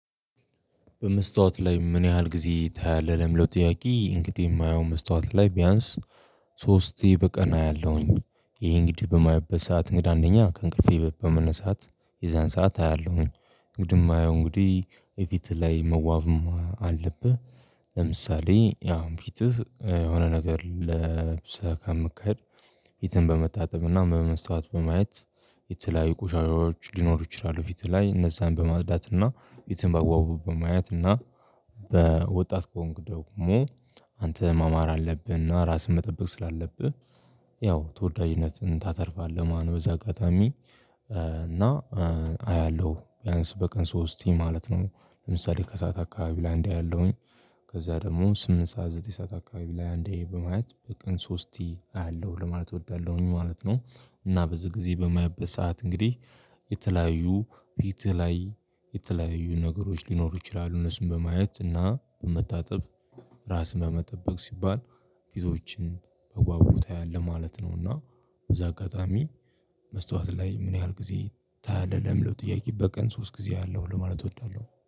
በመስታወት ላይ? ምን ያህል ጊዜ ታያለህ ለሚለው ጥያቄ እንግዲህ የማየው መስታወት ላይ ቢያንስ ሶስቴ በቀን አያለሁኝ። ይሄ እንግዲህ በማይበት ሰዓት እንግዳ አንደኛ ከእንቅልፌ በመነሳት የዛን ሰዓት አያለሁኝ እንግዲህ የማየው እንግዲህ የፊት ላይ መዋብ አለብህ። ለምሳሌ አሁን ፊትህ የሆነ ነገር ለብሰህ ከምትሄድ ፊትህን በመታጠብና በመስታወት በማየት የተለያዩ ቁሻሻዎች ሊኖሩ ይችላሉ። ፊት ላይ እነዛን በማፅዳት እና ፊትን ባግባቡ በማየት እና በወጣት ከሆንክ ደግሞ አንተ ማማር አለብህና ራስህን መጠበቅ ስላለብህ ያው ተወዳጅነትን ታተርፋለህ ማለትነው። በዚህ አጋጣሚ እና አያለሁ ቢያንስ በቀን ሶስቴ ማለት ነው። ለምሳሌ ከሰአት አካባቢ ላይ አንዴ አያለሁኝ ከዛ ደግሞ ስምንት ሰዓት ዘጠኝ ሰዓት አካባቢ ላይ አንዴ በማየት በቀን ሶስቲ አያለሁ ለማለት እወዳለሁኝ ማለት ነው። እና በዚህ ጊዜ በማይበት ሰዓት እንግዲህ የተለያዩ ፊትህ ላይ የተለያዩ ነገሮች ሊኖሩ ይችላሉ እነሱን በማየት እና በመታጠብ ራስን ለመጠበቅ ሲባል ፊቶችን በአግባቡ ታያለህ ማለት ነውና። በዚህ አጋጣሚ መስታወት ላይ ምን ያህል ጊዜ ታያለህ ለሚለው ጥያቄ? በቀን ሶስት ጊዜ አያለሁ ለማለት እወዳለሁ።